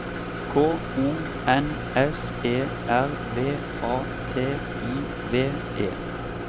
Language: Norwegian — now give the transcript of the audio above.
K O N S E R V A T I V E